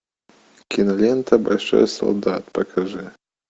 кинолента большой солдат покажи